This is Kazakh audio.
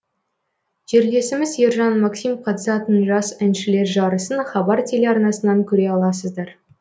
жерлесіміз ержан максим қатысатын жас әншілер жарысын хабар телеарнасынан көре аласыздар